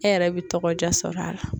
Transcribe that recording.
E yɛrɛ bɛ tɔgɔ diya sɔrɔ a la.